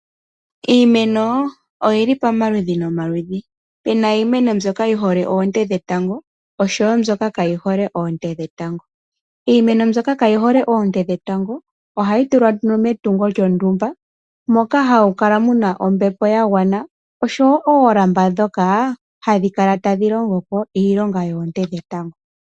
Iimeno oyili pamaludhi ga yooloka. Opuna mbyoka yi hole oonte dhetango osho wo mbyoka kaa yi hole oonte dhetango. Iimeno mbyoka kaa yi hole oonte dhetango, oha yi tulwa metungo lyontumba moka hamu kala muna ombepo ya gwana osho wo oolamba ndhoka hadhi kala tadhi longo po iilonga yoonte dhetango.